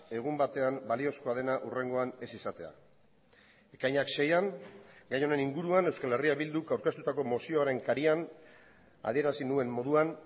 egun batean baliozkoa dena hurrengoan ez izatea ekainak seian gai honen inguruan euskal herria bilduk aurkeztutako mozioaren karian adierazi nuen moduan